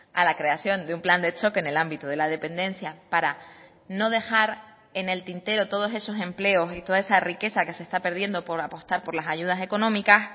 a la creación de un plan de choque en el ámbito de la dependencia para no dejar en el tintero todos esos empleos y toda esa riqueza que se está perdiendo por apostar por las ayudas económicas